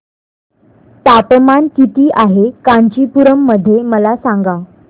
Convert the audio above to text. तापमान किती आहे कांचीपुरम मध्ये मला सांगा